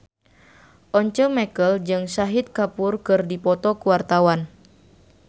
Once Mekel jeung Shahid Kapoor keur dipoto ku wartawan